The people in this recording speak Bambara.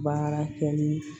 Baara kɛli